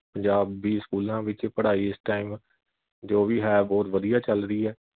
ਪੰਜਾਬੀ ਸਕੂਲਾਂ ਵਿਚ ਪੜਾਈ ਇਸ time ਜੋ ਵੀ ਹੈ ਬਹੁਤ ਵਧੀਆਂ ਚਲ ਰਹੀ ਐ।